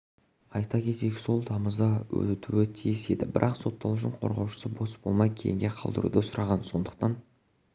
айта кетейік сот тамызда өтуі тиіс еді бірақ сотталушының қорғаушысы бос болмай кейінге қалдыруды сұраған сондықтан